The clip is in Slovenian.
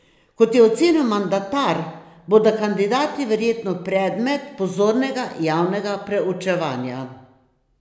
Kot je ocenil mandatar, bodo kandidati verjetno predmet pozornega javnega preučevanja.